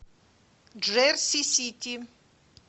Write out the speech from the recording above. джерси сити